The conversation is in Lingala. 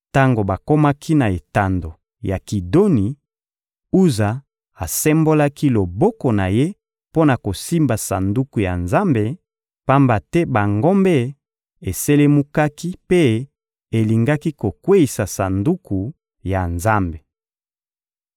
Tango bakomaki na etando ya Kidoni, Uza asembolaki loboko na ye mpo na kosimba Sanduku ya Nzambe, pamba te bangombe eselumukaki mpe elingaki kokweyisa Sanduku ya Nzambe.